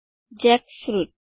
jackfruit